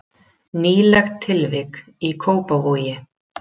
Nýlegt tilvik í Kópavogi